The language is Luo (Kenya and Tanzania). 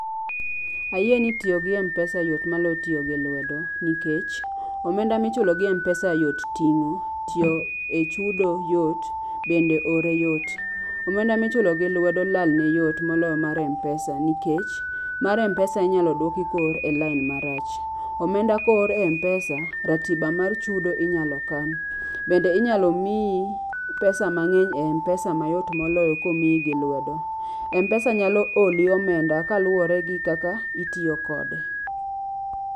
Ayie ni tiyo gi mpesa yot malo tiyo gi lwedo. Nikech omenda michulo gi mpesa yot ting'o, tiyo e chudo yot, bende ore yot. Omenda michulo gi lwedo lalne yot moloyo mar mpesa nikech, mar mpesa inyalo dwoki koor e lain marach. Omenda koor e mpesa, ratiba mar chudo inyalo kan. Bende inyalo miyi pesa mang'eny e mpesa mayot moloyo komiyi gi lwedo. Mpesa nyalo oli omenda kaluwore gi kaka itiyo kode.